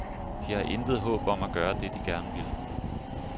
De har intet håb om at gøre det, de gerne vil.